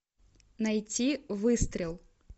найти выстрел